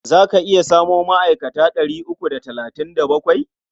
Za ka iya samo ma'aikata ɗari uku da talatin da bakwai?